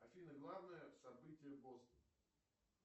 афина главное событие бостона